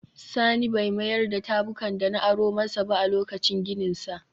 Sani bai mayar da tabukan da na aro masa ba a lokacin gininsa